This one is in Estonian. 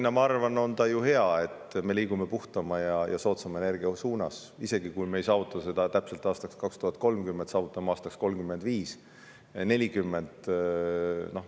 Ja ma arvan, et on hea, kui me oleme seadnud eesmärgiks liikuda puhtama ja soodsama energia poole, isegi kui me ei saavuta seda täpselt aastaks 2030, vaid saavutame näiteks aastaks 2035 või 2040.